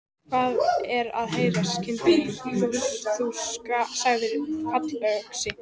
Hvað er að heyra, kindin mín, þú sagðir fallöxi.